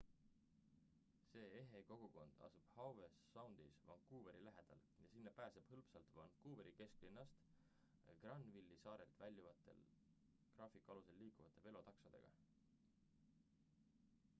see ehe kogukond asub howe soundis vancouveri lähedal ja sinna pääseb hõlpsalt vancouveri kesklinnast granville'i saarelt väljuvate graafiku alusel liiklevate veetaksodega